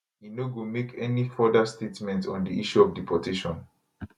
e no go make any further statement on di issue of deportation